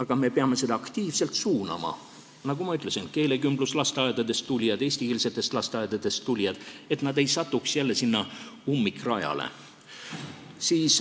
Kuid me peame seda aktiivselt suunama, nagu ma ütlesin, et keelekümbluslasteaedadest ja eestikeelsetest lasteaedadest tulijad ei satuks jälle ummikrajale.